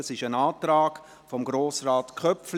Dies ist ein Antrag von Grossrat Köpfli.